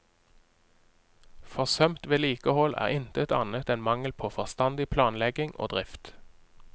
Forsømt vedlikehold er intet annet enn mangel på forstandig planlegging og drift.